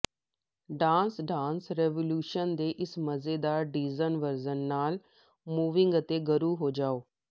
dance dance revolution ਦੇ ਇਸ ਮਜ਼ੇਦਾਰ ਡੀਜਨ ਵਰਜ਼ਨ ਨਾਲ ਮੂਵਿੰਗ ਅਤੇ ਗਰੂ ਹੋ ਜਾਓ